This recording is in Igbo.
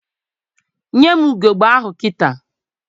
Nye m ugegbe ahụ kịta!